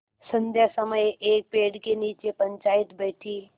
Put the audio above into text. संध्या समय एक पेड़ के नीचे पंचायत बैठी